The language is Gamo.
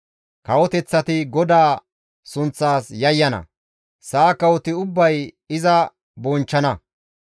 Kawoteththati GODAA sunththaas yayyana; sa7a kawoti ubbay iza bonchchana.